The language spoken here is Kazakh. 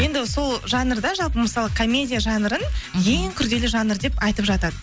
енді сол жанрда жалпы мысалы комедия жанрын ең күрделі жанр деп айтып жатады